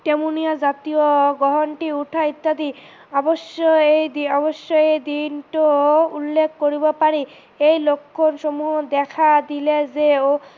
তেমোনিয়া জাতীয় গ্ৰহান্তৰ উঠা ইত্যাদি অৱশ্য এই দিনটো উল্লেখ কৰিব পাৰি, এই লক্ষন সমূহ দখা দিলে যেও